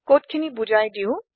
কোডখিনি বোজাই দিও